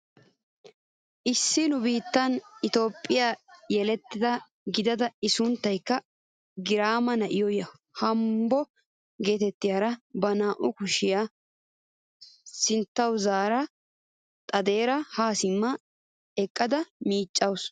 Issi nu biittee itoophphee yeleta gidida i sunttaykka girma na'iyoo naahomo getettiyaara ba naa"u kushshiyaa sinttawu zaara xaaxidara ha simma eqqada miiccawus.